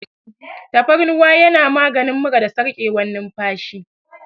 Tafarnuwa yana maganin mura da sarƙewar numfashi.